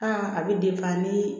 a bɛ nii